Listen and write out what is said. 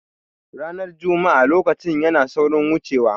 Ranar juma'a lokaci yana saurin wuce wa